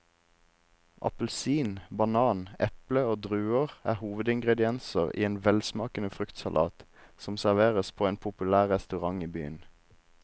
Appelsin, banan, eple og druer er hovedingredienser i en velsmakende fruktsalat som serveres på en populær restaurant i byen.